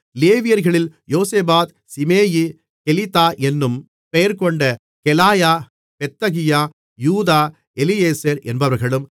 லேவியர்களில் யோசபாத் சிமேயி கெலிதா என்னும் பெயர்கொண்ட கெலாயா பெத்தகியா யூதா எலியேசர் என்பவர்களும்